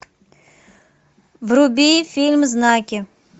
вруби фильм знаки